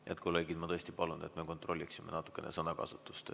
Head kolleegid, ma tõesti palun, et me kontrolliksime natukene sõnakasutust.